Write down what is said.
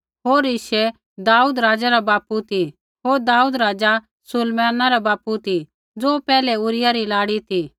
होर यिशै दाऊद राज़ा रा बापू ती होर दाऊद राज़ा सुलैमाना रा बापू ती ज़ो पैहलै ऊरिय्याह री लाड़ी ती